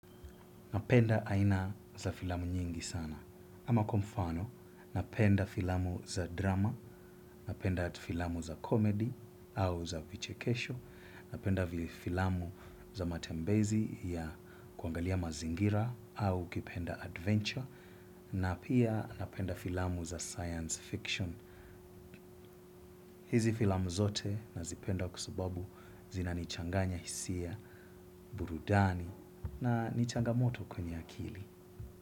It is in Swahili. Napenda aina za filamu nyingi sana. Ama kwa mfano, napenda filamu za drama, napenda filamu za comedy au za vichekesho, napenda filamu za matembezi ya kuangalia mazingira au ukipenda adventure, na pia napenda filamu za science fiction. Hizi filamu zote nazioenda kwa sababu zina nichanganya hisia burudani na ni changamoto kwenye akili.